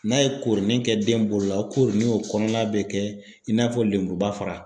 N'a ye koronin kɛ den bolo la o koori o kɔnɔna bɛ kɛ i n'a fɔ lemuruba fara.